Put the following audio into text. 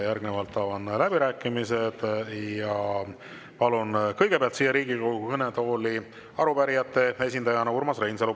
Järgnevalt avan läbirääkimised ja palun kõigepealt siia Riigikogu kõnetooli arupärijate esindajana Urmas Reinsalu.